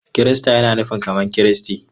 Kirista yana nufin kamar Kristi.